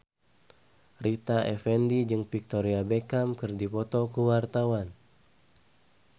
Rita Effendy jeung Victoria Beckham keur dipoto ku wartawan